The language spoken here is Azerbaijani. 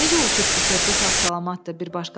Necə uçub ki, körpü sağ-salamatdır?